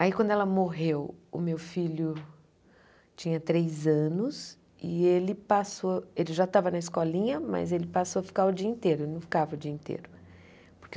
Aí quando ela morreu, o meu filho tinha três anos e ele passou, ele já estava na escolinha, mas ele passou a ficar o dia inteiro, ele não ficava o dia inteiro. Porque